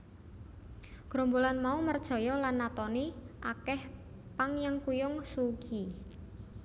Grombolan mau merjaya lan natoni akèh panyengkuyung Suu Kyi